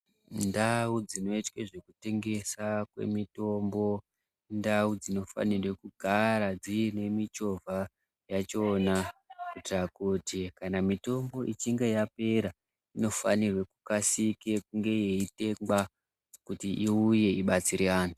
Ndau dzinoitwe zvekutengesa kwemitombo, indau dzinofanire kugara dziyinemichova yachona kuyitira kuti kana mitumbu ichinge yapera, inofanirwe kukasike kunge yeyitengwa kuti iwuye ibatsire antu.